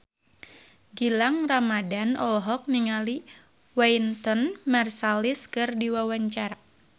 Gilang Ramadan olohok ningali Wynton Marsalis keur diwawancara